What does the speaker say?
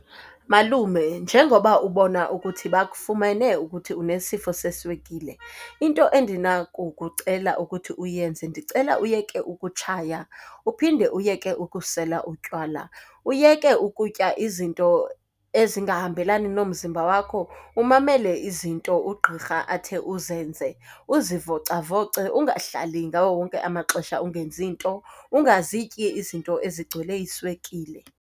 Malume, njengoba ubona ukuthi bakufumene ukuthi unesifo seswekile, into endinakukucela ukuthi uyenze ndicela uyeke ukutshaya, uphinde uyeke ukusela utywala. Uyeke ukutya izinto ezingahambelani nomzimba wakho, umamele izinto ugqirha athe uzenze. Uzivocavoce, ungahlali ngawo wonke amaxesha ungenzi nto. Ungazityi izinto ezigcwele iswekile.